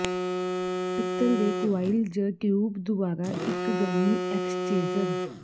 ਪਿੱਤਲ ਦੇ ਕੁਆਇਲ ਜ ਟਿਊਬ ਦੁਆਰਾ ਇੱਕ ਗਰਮੀ ਐਕਸ਼ਚੇਜ਼ਰ